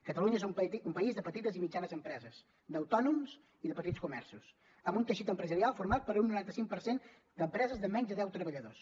catalunya és un país de petites i mitjanes empreses d’autònoms i de petits comerços amb un teixit empresarial format per un noranta cinc per cent d’empreses de menys de deu treballadors